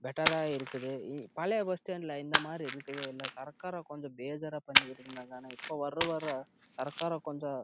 better ஆஹ் இருக்குது முன்னாடி பழைய பஸ்ஸ்டாண்ட்லே இருந்த மாரி இலை இந்த பஸ் ஸ்டாப் விட நல்ல இருக்குது